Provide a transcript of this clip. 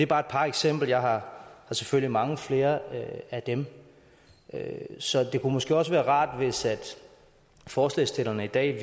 bare et par eksempler jeg har selvfølgelig mange flere af dem så det kunne måske også være rart hvis forslagsstillerne i dag